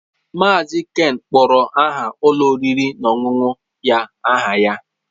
Mazị Ken kpọrọ aha ụlọ oriri na ọṅụṅụ ya aha ya.